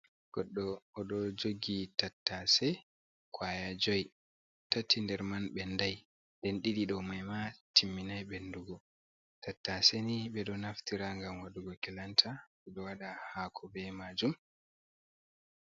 Goɗɗo, o ɗo jogi tattaase kwaya joi, tati nder man ɓendai, nden ɗiɗi ɗo mai ma timminai ɓendugo. Tattaase ni ɓe ɗo naftira ngam waɗugo kilanta. Ɓe ɗo waɗa haako be maajum.